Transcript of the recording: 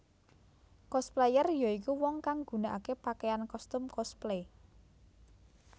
Cosplayer ya iku wong kang gunakaké pakaian kostum cosplay